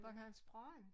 Bornholms Brand?